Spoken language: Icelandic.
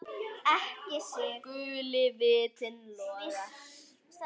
Guli vitinn logar.